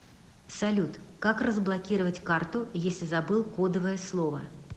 салют как разблокировать карту если забыл кодовое слово